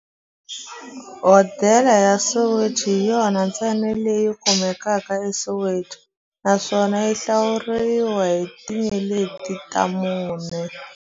Hodela ya Soweto hi yona ntsena leyi kumekaka eSoweto, naswona yi hlawuriwa hi tinyeleti ta mune.